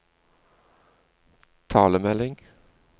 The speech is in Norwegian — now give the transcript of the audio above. talemelding